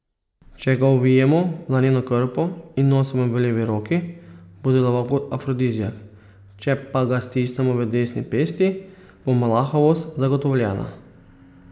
Če ga ovijemo v laneno krpo in nosimo v levi roki, bo deloval kot afrodiziak, če pa ga stiskamo v desni pesti, bo mlahavost zagotovljena.